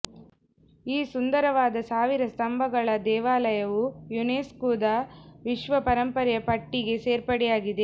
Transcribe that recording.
ಈ ಸುಂದರವಾದ ಸಾವಿರ ಸ್ತಂಭಗಳ ದೇವಾಲಯವು ಯುನೆಸ್ಕುದ ವಿಶ್ವ ಪರಂಪರೆಯ ಪಟ್ಟಿಗೆ ಸೇರ್ಪಡೆಯಾಗಿದೆ